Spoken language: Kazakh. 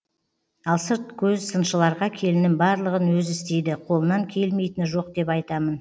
ал сырт көз сыншыларға келінім барлығын өзі істейді қолынан келмейтіні жоқ деп айтамын